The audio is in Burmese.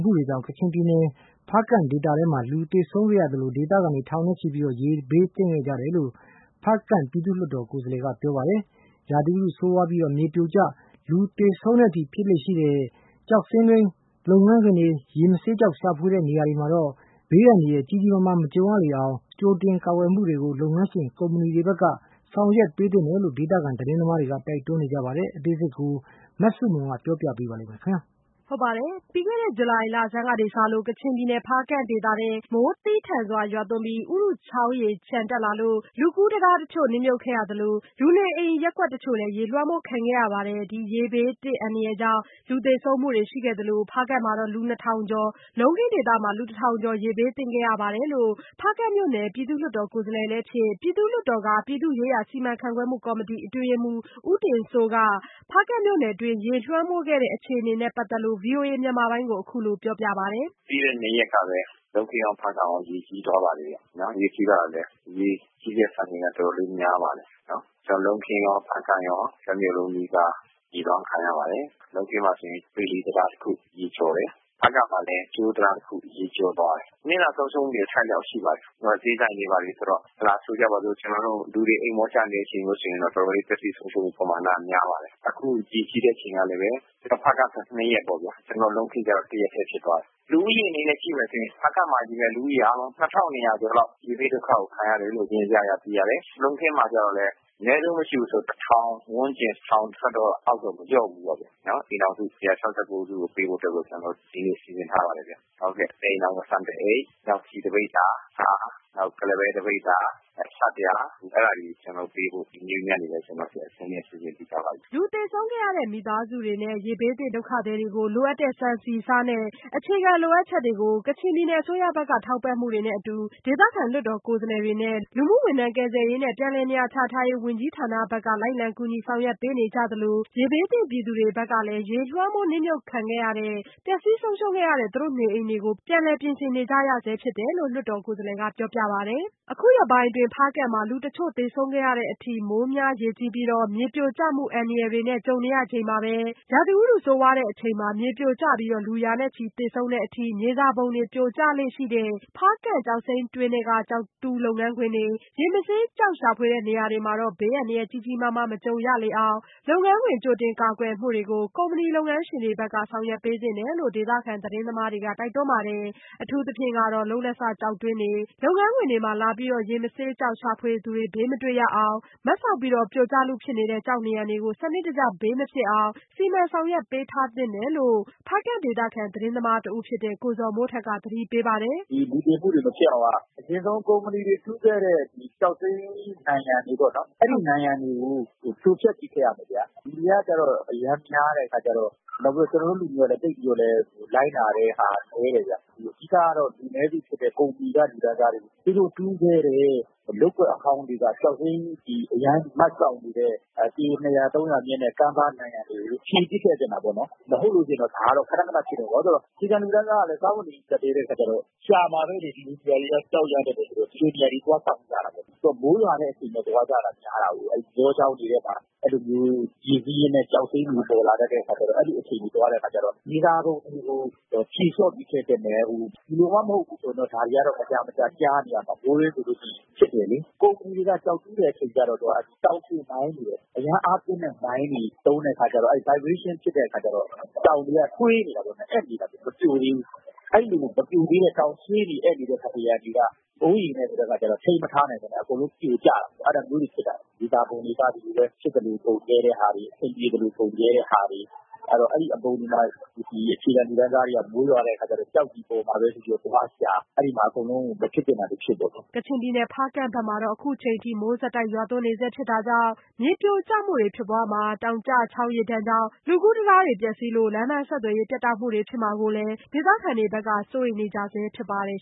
မှုတွေကြောင့် ကချင်ပြည်နယ် ဖားကန့်ဒေသထဲ လူသေဆုံးခဲ့ရသလို ဒေသခံ ထောင်နဲ့ချီ ရေဘေးသင့်ခဲ့ရတယ်လို့ ဖားကန့်ပြည်သူ့လွှတ်တော် ကိုယ်စားလှယ်ကပြောပါတယ်။ ရာသီဥတုဆိုးဝါးလို့ မြေပြိုကျပြီး လူရာချီသေဆုံးတဲ့အထိ မြေစာပုံတွေ ပြိုကျလေ့ရှိတဲ့ ဖားကန့်ကျောက်စိမ်းတွင်း လုပ်ငန်းခွင်တွေ၊ ရေမဆေး ကျောက်ရှာဖွေတဲ့ နေရာတွေမှာတော့ ဘေးအန္တရာယ်ကြီးကြီးမားမား မကြုံရလေအောင် လုပ်ငန်းခွင် ကြိုတင်ကာကွယ်မှုတွေကို ကုမ္မဏီလုပ်ငန်းရှင်တွေဘက်က ဆောင်ရွက်ပေးသင့်တယ်လို့လည်း ဒေသခံသတင်းသမားတွေက တိုက်တွန်းပါတယ်။ အသေးစိတ် မဆုမွန် ဆက်ပြောပြပါမယ်။ ပြီးခဲ့တဲ့ဇူလိုင်လဆန်းကစလို့ ကချင်ပြည်နယ် ဖားကန့်ဒေသထဲ မိုးသည်းထန်စွာရွာသွန်းပြီး ဥရုချောင်းရေလျှံတက်လာလို့ လူကူးတံတားတချို့ နစ်မြုပ်ခဲ့ရသလို လူနေအိမ်ရပ်ကွက်တချို့လည်း ရေလွှမ်းမိုးခံခဲ့ရပါတယ်။ ဒီရေဘေးအန္တရာယ်ကြောင့် လူသေဆုံးမှုတွေရှိခဲ့သလို ဖားကန့်မှာ လူနှစ်ထောင်ကျော်၊ လုံးခင်းဒေသမှာ လူတစ်ထောင်ကျော်လောက် ရေဘေးသင့်ခဲ့ရပါတယ်လို့ ဖားကန့်မြို့နယ် ပြည်သူ့လွှတ်တော်ကိုယ်စားလှယ်လည်းဖြစ် ပြည်သူ့လွှတ်တော်က ပြည်သူ့ရေးရာစီမံခန့်ခွဲမှုကော်မတီအတွင်းရေးမှူး ဦးတင်စိုးက ဖားကန့်မြို့နယ်တွင်း ရေလွှမ်းမိုးခံခဲ့ရတဲ့အခြေအနေနဲ့ပတ်သက်လို့ ဗွီအိုအေမြန်မာပိုင်းကိုပြောပါတယ်။ " ပြီးခဲ့တဲ့ ၂ရက်ကပဲ လုံးခင်းရော ဖားကန့်ရော ရေကြီးသွားပါတယ်။ ရေကြီးတဲ့ စံချိန်က တော်တောလေး များပါတယ်။ လုံးခင်း ဖားကန့် တမြို့လုံးနီးပါး ရေးလွှမ်းခံရပါတယ်။ လုံးခင်းမှာဆိုရင် ဗီလီတံတားတခု ရေကျော်ပါတယ်၊ ဖားကန့်မှာလည်း ကြိုးတံတားတခု ရေကျော်သွားတယ်။ နစ်နာဆုံးရှုံးမှုတွေ အထိုက်အလျှောက်ရှိပါတယ်။ ဈေးဆိုင်တို့ပါတို့ပေါ့၊ လူတွေ အိပ်မောကျနေချိန်ဆိုတော့ ပျက်စီးဆုံးရှုံးမှုပမာဏ တော်တော်လေး များပါတယ်။ ဖားကန့်မှာ ၂ရက် လုံးခင်းမှာ ၁ရက်ကြီးတယ်။ လူဦးရေအနေနဲ့ကြည့်ရင် ဖားကန့်မှာ လူ ၂၂၀၀ ကျော်လောက် ရေဘေးဒုက္ခကို ခံရတယ်။ လုံးခင်းမှာကျတော့ အနည်းဆုံး မရှိဘူးဆိုရင် ၁ ထောင်ဝန်းကျင် ၁ထောင်ထက်တော့ မလျော့ဘူးပေါ့။ အိမ်ထောင်စု ၁၆၉ စုကို ကူညီဖို့ စီစဉ်ထားပါတယ်။ တအိမ်ထောင် ဆန်တအိတ်၊ ဆီတပိဿာ၊ ဆား နောက် ကုလားပဲ တပိဿာ၊ နောက် ဆပ်ပြာ အဲဒါတွေပေးဖို့ ကျနော်တို့ အဆင်သင့်လုပ်ထားပါတယ်။" လူသေဆုံးခဲ့ရတဲ့မိသားစုတွေနဲ ရေဘေးသင့်ဒေသခံတွေကို လိုအပ်တဲ့ ဆန်ဆီဆားနဲ့ အခြေခံလိုအပ်ချက်တွေအတွက် ကချင်ပြည်နယ် အစိုးရဘက်က ထောက်ပံ့မှုတွေနဲ့အတူ ဒေသခံလွှတ်တော် ကိုယ်စားလှယ်တွေနဲ့ လူကယ်ပြန်ဘက်က လိုက်လံကူညီ ဆောင်ရွက်ပေးနေကြသလို ရေဘေးသင့်ပြည်သူတွေဘက်ကလည်း ရေလွှမ်းမိုးနစ်မြုပ်မှုခံခဲ့ရတဲ့ ပျက်ဆီးဆုံးရှုံးခဲ့ရတဲ့ နေအိမ်တွေကိုပြန်လည်ပြင်ဆင်နေကြရဆဲဖြစ်တယ်လို့ ပြည်သူ့လွှတ်တော်ကိုယ်စားလှယ်ကပြောပါတယ်။ အခုလို ဖားကန့်မှာ အခုရက်ပိုင်း လူတချို့သေဆုံးခဲ့ရတဲ့အထိ မိုးများရေကြီးပြီး မြေပြိုကျမှုအန္တရာယ်တွေနဲ့ကြုံနေရချိန်မှာပဲ ရာသီဥတုဆိုးဝါးတဲ့အချိန်မှာ မြေပြိုကျပြီး လူရာချီသေဆုံးတဲ့အထိ မြေစာပုံတွေ ပြိုကျလေ့ရှိတဲ့ ဖားကန့်ကျောက်စိမ်းတွင်းထဲက ကျောက်တူးလုပ်ငန်းခွင်တွေ၊ ရေမဆေး ကျောက်ရှာဖွေတဲ့ နေရာတွေမှာတော့ ဘေးအန္တရာယ်ကြီးကြီးမားမား မကြုံရလေအောင် လုပ်ငန်းခွင် ကြိုတင်ကာကွယ်မှုတွေကို ကုမ္မဏီလုပ်ငန်းရှင်တွေဘက်က ဆောင်ရွက်ပေးသင့်တယ်လို့လည်း ဒေသခံသတင်းသမားတွေက တိုက်တွန်းပါတယ်။ အထူးသဖြင့်ကတော့ လုပ်လက်စကျောက်တွင်းတွေ၊ လုပ်ငန်းခွင်တွေမှာ လာပြီးတော့ ရေမဆေးကျောက်ရှာဖွေသူတွေ ဘေးမတွေ့ရအောင် မတ်စောက်ပြီး ပြိုကျလုဖြစ်နေတဲ့ကျောက်နံရံတွေကို စနစ်တကျဘေးမဖြစ်အောင် ဆောင်ရွက်ပေးထားသင့်တယ်လို့ ဖားကန့်ဒေသခံသတင်းသမားတဦးဖြစ်တဲ့ ကိုဇော်မိုးထက်က သတိပေးပါတယ်။ " လူသေတာတွေ မဖြစ်အောင်က ဒီကုမ္ပဏီတွေ တူးခဲ့တဲ့ကျောက်စိမ်း နံရံတွေပေ့ါနော်၊ အဲဒီနံရံတွေကို ဖြိုဖ ျက်ပစ်ခဲ့ရမယ်ဗျာ။ လူတွေက အရမ်းများတယ် ၊ ကျနော်တို့လူတွေကလည်း လိုက်နာမှုတွေ နည်းတယ်ဗျ။ အဓိကတော့ လူနည်းစုဖြစ်တဲ့ ကုမ္ပဏီက လူတန်းစားတွေ သူတို့တူးခဲ့တဲ့ လုပ်ကွက်အဟောင်းတွေက ကျောက်စိမ်းနံရံ.. အရမ်းမတ်စောက်နေတဲ့ ပေ(၂၀၀-၃၀၀)မြင့်တဲ့ ကမ်းပါးနံရံတွေကို ဖြည်ပစ်ခဲ့သင့်တာပေါ့နော်။ မဟုတ်လို့ရှိရင် ဒါကတော့ ခနခနဖြစ်နေမှာပဲ။ အခြေခံလူတန်းစားကတော့ စားဝတ်နေရေး ကြပ်တည်းတဲ့ အခါကျတော့ ရှာမှာပဲလေ။ ဒီလိုနေရာတွေက ကျောက်ရတတ်တဲ့အခါကျတော့ သွားစောင့်ကြမှာပေါ့။ မိုးရွာတဲ့အချိန်မှာ သွားကြတာများတာကိုး၊ ရေစီးရင်းနဲ့ ကျောက်စိမ်းတွေ ပေါ်လာတတ်တဲ့အခါကျတော့ အဲလိုအချိန်မှာ သွားတတ်တဲ့အခါကျတော့..။ မြေစာပုံတွေကို ဖြေလျော့ပြီးဖ ျက်ခဲ့သင့်တယ်။ ဒီလိုမှ မဟုတ်ဘူးဆို ဒါတွေက မကြာမကြာ ကြားနေရမှာပဲ။ ကုမ္ပဏီတွေက ကျောက်တူးတဲ့အခါမှာ အရမ်းအားပြင်းတဲ့မိုင်းတွေ သုံးတဲ့ အခါကျတော့ တုန်ခါမှုတွေဖြစ်ခဲ့တော့ တောင်တွေက ဆွေးနေတာပေါ့ အက်နေတာပေါ့ မပြိုသေးဘူး။ အဲလို မပြိုသေးတဲ့တောင် ဆွေးနေအက်နေတဲ့ နံရံတွေက မိုးရေနဲ့က ျတော့ ထိန်းမထားနိုင်ပဲနဲ့ အကုန်လုံးပြိုကျတော့တာပဲ အဲလိုကနေဖြစ်တာ။ မြေစာပုံတွေက ဖြစ်သလိုပုံခဲ့ကြတာ။ အဲဒီအပုံတွေမှာ ကျောက်တွေပေါ်လာမှာပဲဆိုပြီး အခြေခံ လူတန်းစားတွေက သွားရှာကြတာ။ အဲလိုနဲ့ အကုန်လုံး မဖြစ်သင့်တာတွေဖြစ်ကုန်တာ။" ကချင်ပြည်နယ် ဖားကန့်ဘက်မှာ အခုထက်ထိ မိုးဆက်တိုက်ရွာသွန်းနေတာကြောင့် မြေပြိုကျမှုတွေဖြစ်ပွားမှာ တောင်ကျချောင်း ရေဒဏ်ကြောင့် လူကူးတံတားပျက်စီးလို့ လမ်းပမ်းဆက်သွယ်ရေးပြတ်တောက်မှုဖြစ်မှာကိုလည်း ဒေသခံတွေက စိုးရိမ်နေကြဆဲဖြစ်ပါတယ်